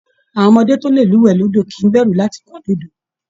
Àwọn ọmọdé tó lè lúwẹ̀ẹ́ lódò kìí bẹ̀rù láti kán lu odò